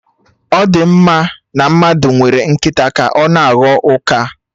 Ọ di mma na mmadụ nwere nkịta ka na-aghọ ụka?